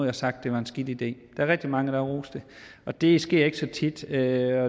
har sagt det er en skidt idé der er rigtig mange der har rost det og det sker ikke så tit jeg